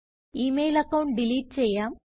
E mail account delete ചെയ്യാം